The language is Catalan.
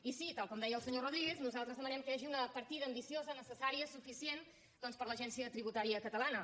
i sí tal com deia el senyor rodríguez nosaltres de·manem que hi hagi una partida ambiciosa necessà·ria suficient doncs per a l’agència tributària cata·lana